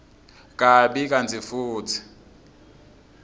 kabi kantsi futsi